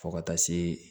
Fo ka taa se